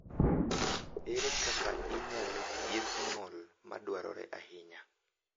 Ere kaka inyalo thiedh ng’ol ma dwarore ahinya?